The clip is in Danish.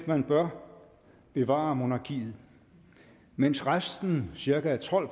man bør bevare monarkiet mens resten cirka tolv